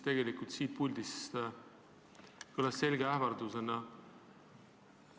See kõlas siit puldist selge ähvardusena.